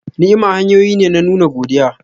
Ni'ima hanyoyi ne na nuna godiya.